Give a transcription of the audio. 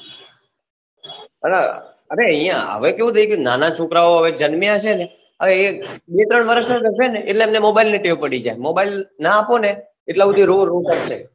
અલા અરે અહિયાં હવે કેવું થઇ ગયું નાના છોકરા ઓ હવે જન્મ્યા છે ને એ બે ત્રણ વર્ષ ના થશે ને એટલે એમને mobile ની ટેવ પડી જાય mobile ના આપો ને એટલા સુધી રોરો કરશે